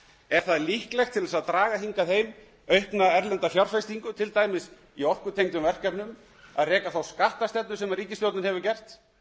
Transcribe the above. er það líklegt til þess að draga hingað heim aukna erlenda fjárfestingu til dæmis í orkutengdum verkefnum að reka þá skattstefnu sem ríkisstjórnin hefur gert